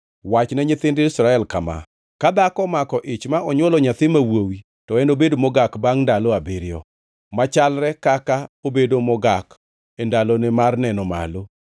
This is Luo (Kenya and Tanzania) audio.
Wachne nyithind Israel kama: Ka dhako omako ich ma onywolo nyathi ma wuowi, to enobed mogak bangʼ ndalo abiriyo, machalre kaka obedo mogak e ndalone mar neno malo.